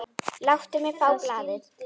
Láttu mig fá blaðið!